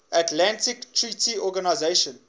atlantic treaty organisation